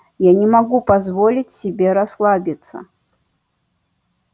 я не могу позволить себе расслабиться